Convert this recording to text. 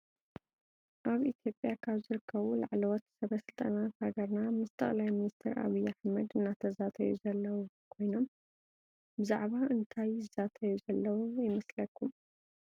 አብ ኢትዮጲያ ካብ ዝርከቡ ላዕለወት ሰበስልጣናት ሃገርና ምስ ጠቅላይ ሚኒስትር አብይ አሕመድ እናተዛተዩ ዘለው ኮይኖም ብዛዕባ እንታይ ይዛተዩ ዘለው ይመስለኩም?